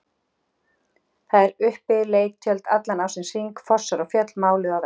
Þar eru uppi leiktjöld allan ársins hring, fossar og fjöll máluð á vegg.